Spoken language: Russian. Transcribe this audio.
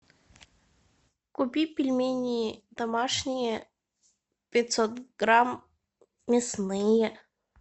купи пельмени домашние пятьсот грамм мясные